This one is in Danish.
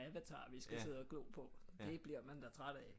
Avatar vi skal sidde og glo på det bliver man da træt af